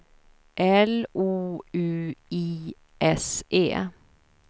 L O U I S E